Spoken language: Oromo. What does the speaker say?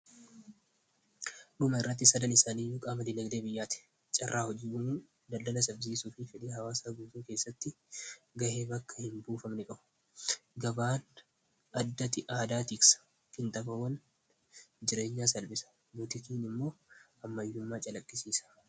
Dhuma irratti, sadan isaanii fayidaa guddaa qabu.